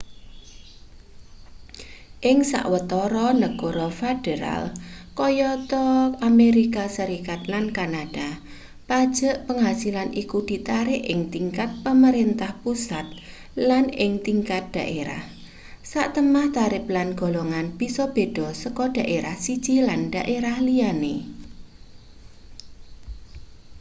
ing sawetara negara federal kayata amerika serikat lan kanada pajek penghasilan iku ditarik ing tingkat pamarentah pusat lan ing tingkat daerah satemah tarip lan golongan bisa beda saka daerah siji lan daerah liyane